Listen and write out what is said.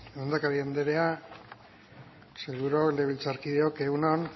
lehendakari anderea sailburuok legebiltzarkideok egun on